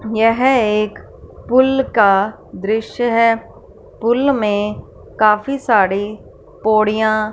यह एक पुल का दृश्य है पुल में काफी साड़े पोडियां--